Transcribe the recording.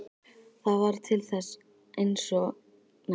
Það varð til þess eins að gera Maríu enn æstari.